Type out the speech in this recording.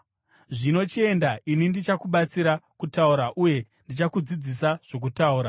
Zvino chienda, ini ndichakubatsira kutaura uye ndichakudzidzisa zvokutaura.”